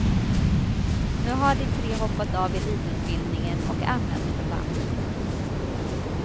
Nu har de tre hoppat av elitutbildningen och anmält förbandet.